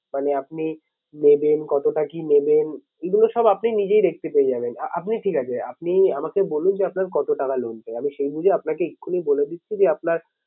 মানে আপনি নেবেন কতটা কি নেবেন। এগুলো সব আপনি নিজেই দেখতে পেয়ে যাবেন। আপনি ঠিক আছে আপনি আমাকে বলুন যে আপনার কত টাকা loan চাই? আমি সেই বুঝে আপনাকে এক্ষুনি বলে দিচ্ছি যে আপনার